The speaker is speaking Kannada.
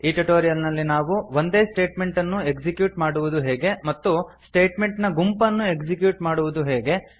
ಈ ಟ್ಯುಟೋರಿಯಲ್ ನಲ್ಲಿ ನಾವು ಒಂದೇ ಸ್ಟೇಟ್ಮೆಂಟ್ ಅನ್ನು ಎಕ್ಸಿಕ್ಯೂಟ್ ಮಾಡುವುದು ಹೇಗೆ ಮತ್ತು ಸ್ಟೇಟ್ಮೆಂಟ್ ನ ಗುಂಪನ್ನು ಎಕ್ಸಿಕ್ಯೂಟ್ ಮಾಡುವುದು ಹೇಗೆ